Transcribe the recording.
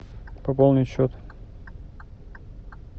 пополнить счет